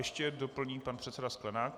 Ještě doplní pan předseda Sklenák.